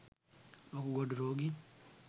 වකුගඩු රෝගීන්